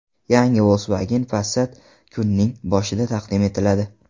Yangi Volkswagen Passat kuzning boshida taqdim etiladi.